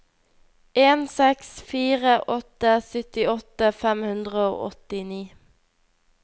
en seks fire åtte syttiåtte fem hundre og åttini